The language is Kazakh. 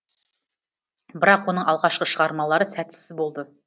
бірақ оның алғашқы шығармалары сәтсіз болды